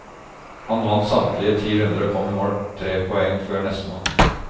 Han vant samtlige ti runder og kom i mål tre poeng før nestemann.